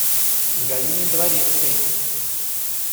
галиной дворецкой